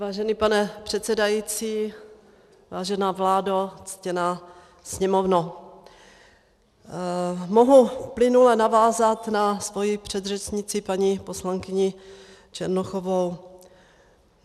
Vážený pane předsedající, vážená vládo, ctěná Sněmovno, mohu plynule navázat na svoji předřečnici, paní poslankyni Černochovou.